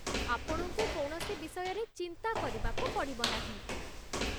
ଆପଣଙ୍କୁ କୌଣସି ବିଷୟରେ ଚିନ୍ତା କରିବାକୁ ପଡ଼ିବ ନାହିଁ।